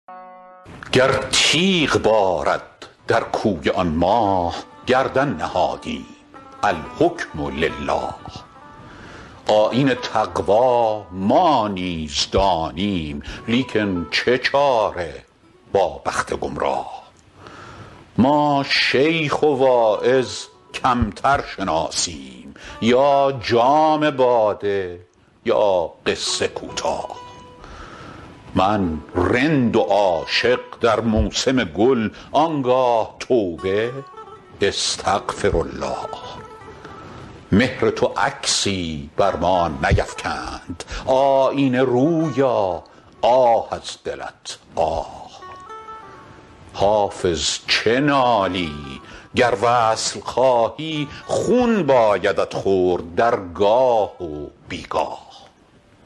گر تیغ بارد در کوی آن ماه گردن نهادیم الحکم لله آیین تقوا ما نیز دانیم لیکن چه چاره با بخت گمراه ما شیخ و واعظ کمتر شناسیم یا جام باده یا قصه کوتاه من رند و عاشق در موسم گل آن گاه توبه استغفرالله مهر تو عکسی بر ما نیفکند آیینه رویا آه از دلت آه الصبر مر و العمر فان یا لیت شعري حتام ألقاه حافظ چه نالی گر وصل خواهی خون بایدت خورد در گاه و بی گاه